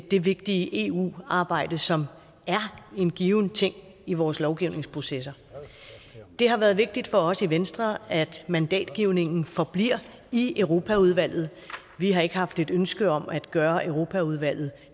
det vigtige eu arbejde som er en given ting i vores lovgivningsprocesser det har været vigtigt for os i venstre at mandatgivningen forbliver i europaudvalget vi har ikke haft et ønske om at gøre europaudvalget